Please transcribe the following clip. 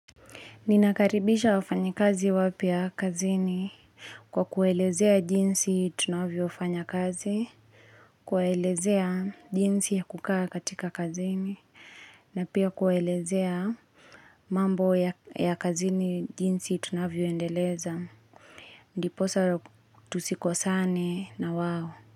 Ninakaribisha wafanyi kazi wapya kazini kwa kuwaelezea jinsi tunavyo fanya kazi, kuelezea jinsi ya kukaa katika kazini, na pia kuelezea mambo ya kazini jinsi tunavyo endeleza. Ndiposa tusikosane na wao.